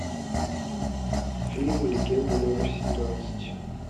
фильм легенда номер семнадцать